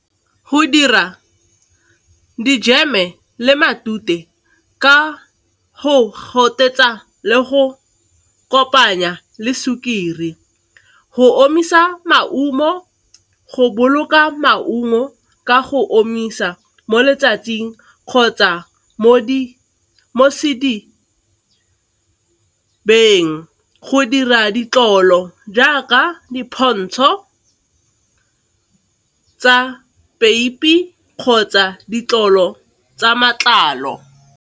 Go dira dijeme le matute ka go gotetsa le go kopanya le sukiri, go omisa maungo, go boloka maungo ka go omisa mo letsatsing kgotsa , go dira ditlolo jaaka dipontsho tsa peipi kgotsa ditlogolo tsa matlalo.